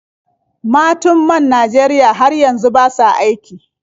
Matun man Najeriya har yanzu ba sa aiki.